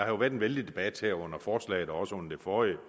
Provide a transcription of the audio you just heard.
jo været en vældig debat her under forslaget og også under det forrige om